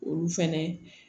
Olu fɛnɛ